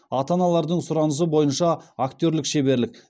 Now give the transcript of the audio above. ата аналардың сұранысы бойынша актерлік шеберлік